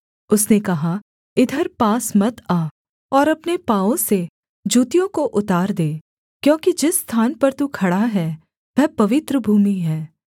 उसने कहा इधर पास मत आ और अपने पाँवों से जूतियों को उतार दे क्योंकि जिस स्थान पर तू खड़ा है वह पवित्र भूमि है